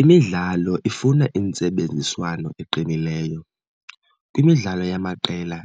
Imidlalo ifuna intsebenziswano eqinileyo. Kwimidlalo yamaqela,